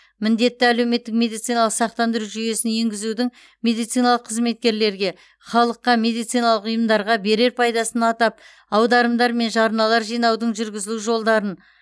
міндетті әлеуметтік медициналық сақтандыру жүйесін енгізудің медициналық қызметкерлерге халыққа медициналық ұйымдарға берер пайдасын атап аударымдар мен жарналар жинаудың жүргізілу жолдарын